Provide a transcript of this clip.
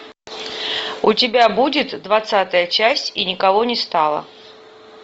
у тебя будет двадцатая часть и никого не стало